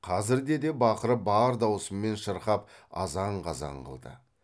қазірде де бақырып бар даусымен шырқап азан қазан қылды